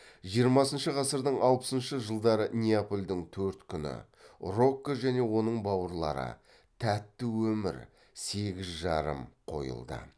жиырмасыншы ғасырдың алпысыншы жылдары неапольдің төрт күні рокко және оның бауырлары тәтті өмір сегіз жарым қойылды